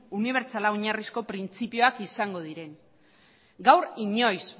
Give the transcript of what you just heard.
unibertsala oinarrizko printzipioak izango diren gaur inoiz